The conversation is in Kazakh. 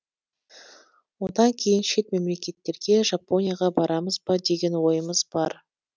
одан кейін шет мемлекеттерге жапонияға барамыз ба деген ойымыз бар